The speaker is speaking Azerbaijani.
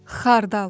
Xardal.